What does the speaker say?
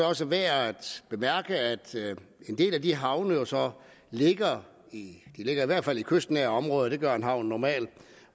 også værd at bemærke at en del af de havne jo så ligger i hvert fald i kystnære områder det gør en havn normalt